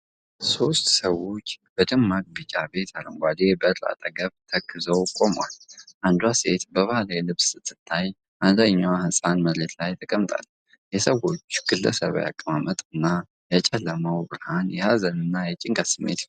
ሦስት ሰዎች ከደማቅ ቢጫ ቤት አረንጓዴ በር አጠገብ ተክዘው ቆመዋል። አንዷ ሴት በባህላዊ ልብስ ስትታይ፣ አንደኛው ህፃን መሬት ላይ ተቀምጣለች። የሰዎች ግለሰባዊ አቀማመጥ እና የጨለመው ብርሃን የሀዘንን እና የጭንቀትን ስሜት ይፈጥራል።